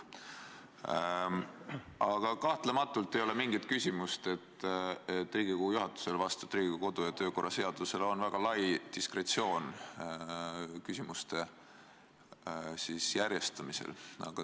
Aga kahtlemata ei ole mingit küsimust, Riigikogu juhatusel on kodu- ja töökorra seaduse järgi väga lai diskretsioon küsimuste järjestamisel.